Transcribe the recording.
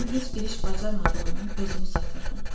Mən heç bir iş bacarmadığımdan özümü satırdım.